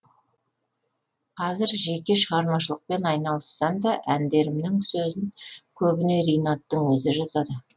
қазір жеке шығармашылықпен айналыссам да әндерімнің сөзін көбіне ринаттың өзі жазады